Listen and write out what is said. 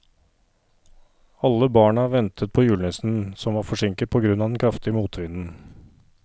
Alle barna ventet på julenissen, som var forsinket på grunn av den kraftige motvinden.